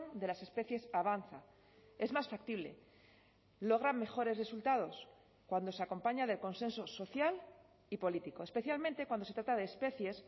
de las especies avanza es más factible logran mejores resultados cuando se acompaña del consenso social y político especialmente cuando se trata de especies